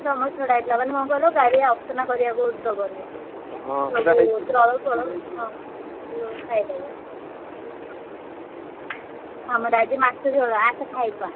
ଆମର ଛଡାହେଇଥିଲା। ମାନେ କଣ କହିଲ ଗାଡିଆ ଅସନା କରିଆକୁ ଦବନି। ଦଳ ଫଳ ହଁ ସବୁ ଖାଇଦବ। ଆମର ଆଜି ମାଛ ଝୋଳ ଆସେ ଖାଇବା।